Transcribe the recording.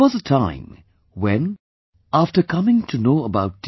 There was a time when, after coming to know about T